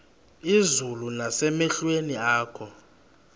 izulu nasemehlweni akho